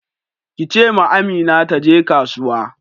Ki ce ma Amina taje kasuwa.